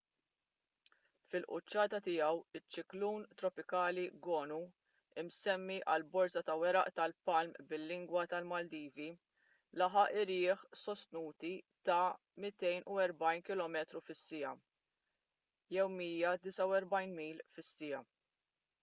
fil-quċċata tiegħu iċ-ċiklun tropikali gonu imsemmi għal borża ta’ weraq tal-palm bil-lingwa tal-maldivi laħaq irjieħ sostnuti ta’ 240 kilometru fis-siegħa 149 mil fis-siegħa